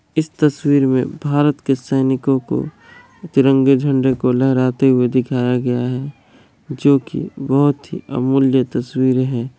इस तस्वीर में भारत के सैनिको को तिरंगे झंडे को लहराते हुए दिखाया गया है जो की बहुत ही अमूल्य तस्वीर है।